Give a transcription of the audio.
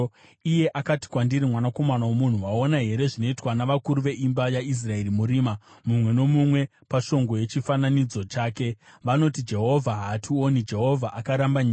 Iye akati kwandiri, “Mwanakomana womunhu, waona here zvinoitwa navakuru veimba yaIsraeri murima, mumwe nomumwe pashongwe yechifananidzo chake? Vanoti, ‘Jehovha haationi, Jehovha akaramba nyika.’ ”